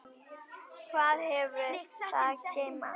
Hvað hefur það að geyma?